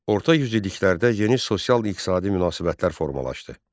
Orta yüzilliklərdə yeni sosial-iqtisadi münasibətlər formalaşdı.